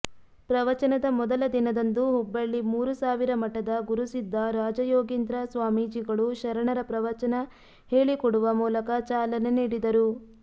ಪ್ರವಚನದ ಮೊದಲ ದಿನದಂದು ಹುಬ್ಬಳ್ಳಿ ಮೂರುಸಾವಿರಮಠದ ಗುರುಸಿದ್ಧ ರಾಜಯೋಗೀಂದ್ರ ಸ್ವಾಮೀಜಿಗಳು ಶರಣರ ಪ್ರವಚನ ಹೇಳಿಕೊಡುವ ಮೂಲಕ ಚಾಲನೆ ನೀಡಿದರು